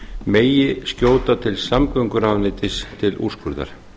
megi skjóta til samgönguráðuneytis til úrskurðar